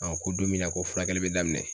ko don min na ko furakɛli bɛ daminɛ.